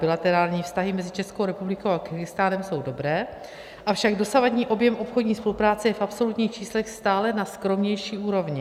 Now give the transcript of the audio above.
Bilaterální vztahy mezi Českou republikou a Kyrgyzstánem jsou dobré, avšak dosavadní objem obchodní spolupráce je v absolutních číslech stále na skromnější úrovni.